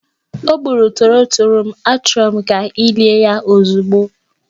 O gburu torotoro m, achọrọ m ka ị lie ya ozugbo!